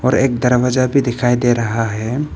और एक दरवाजा भी दिखाई दे रहा है।